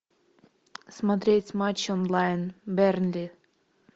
смотреть матч онлайн бернли